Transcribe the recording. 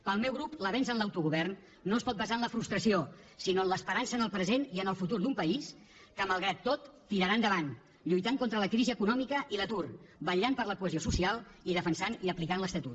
pel meu grup l’avenç en l’autogovern no es pot basar en la frustració sinó en l’esperança en el present i en el futur d’un país que malgrat tot tirarà endavant lluitant contra la crisi econòmica i l’atur vetllant per la cohesió social i defensant i aplicant l’estatut